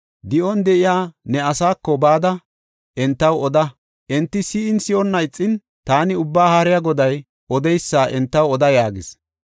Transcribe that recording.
Di7on de7iya ne asaako bada entaw oda. Enti si7in, si7onna ixin, taani Ubbaa Haariya Goday odeysa entaw oda” yaagis.